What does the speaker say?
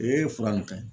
Ee fura ka ɲi